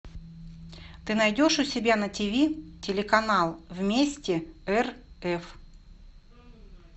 ты найдешь у себя на тв телеканал вместе рф